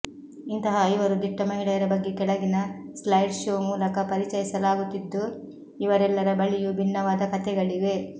ಇಂತಹ ಐವರು ದಿಟ್ಟ ಮಹಿಳೆಯರ ಬಗ್ಗೆ ಕೆಳಗಿನ ಸ್ಲೈಡ್ ಶೋ ಮೂಲಕ ಪರಿಚಯಿಸಲಾಗುತ್ತಿದ್ದು ಇವರೆಲ್ಲರ ಬಳಿಯೂ ಭಿನ್ನವಾದ ಕಥೆಗಳಿವೆ